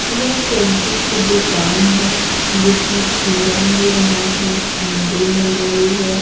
यह सब्जी की दुकान है जिसमें खीरा मिल रहा है भिंडी मिल रही है।